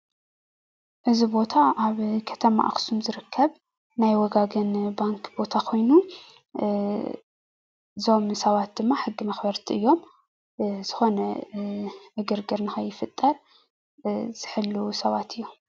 እዚ ቦታ ኣብ ከተማ ኣክሱም ዝርከብ ናይ ወጋገን ባንኪ ቦታ ኮይኑ እዞም ሰባት ድማ ሕጊ መኽበርቲ እዮም፡፡ ዝኾነ ዕግርግር ንኸይፍጠር ዝሕልዉ ሰባት እዮም።